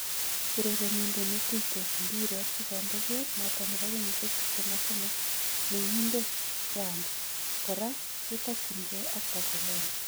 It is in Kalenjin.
Urerenindet netuytos mbiret sikonde kol noton nebo kenyisiek 23 meng'iindet France koraa ketakyingee ak Barcelona